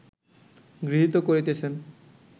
গৃহীত করিতেছেন